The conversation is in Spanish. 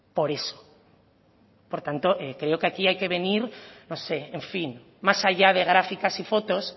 por eso por tanto creo que aquí hay que venir no sé en fin más allá de gráficas y fotos